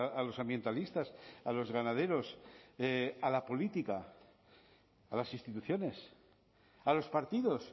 a los ambientalistas a los ganaderos a la política a las instituciones a los partidos